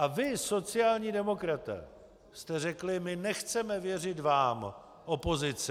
A vy, sociální demokraté, jste řekli: My nechceme věřit vám, opozici.